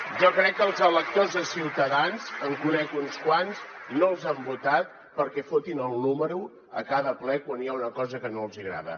jo crec que els electors de ciutadans en conec uns quants no els han votat perquè fotin el número a cada ple quan hi ha una cosa que no els hi agrada